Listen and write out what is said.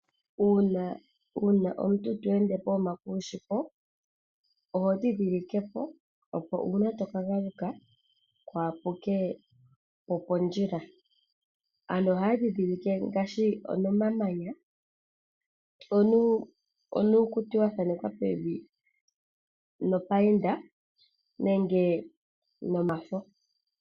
Uuna omuntu to ende pokuma kushipo ohondhindhilikepo opo uuna to kagaluka kuha puke pondjila. Aantu ohaya ndhindhilike ngaashi nomamanya, nuukuti wathanekwa pevi no payinda nenge nomafo.